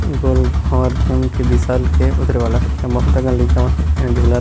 गोल भावर घूम के बिसल के उतरे वाला हे इहाँ बहुत अकन लइका मन हे इहाँ झूला--